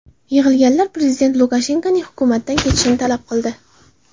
Yig‘ilganlar prezident Lukashenkoning hukumatdan ketishini talab qildi.